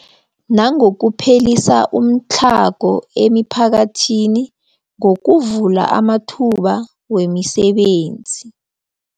Nangokuphelisa umtlhago emiphakathini ngokuvula amathuba wemisebenzi.